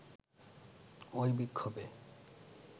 ঐ বিক্ষোভে